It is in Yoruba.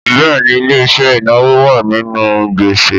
Bẹ́ẹ̀ni ilé-iṣẹ́ inawo wa nínú gbese.